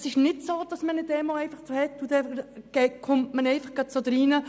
Es ist nicht so, dass eine Demo einfach so stattfindet und dann auf einmal etwas geschieht.